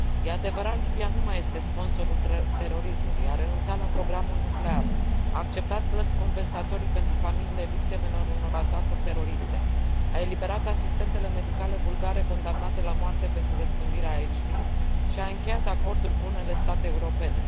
Este adevărat, Libia nu mai este sponsorul terorismului, a renunțat la programul nuclear, a acceptat plăți compensatorii pentru familiile victimelor unor atacuri teroriste, a eliberat asistentele medicale bulgare condamnate la moarte pentru răspândirea HIV și a încheiat acorduri cu unele state europene.